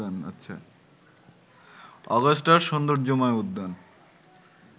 অগাস্টার সৌন্দর্যময় উদ্যান